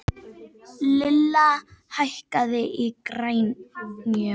Lilla, hækkaðu í græjunum.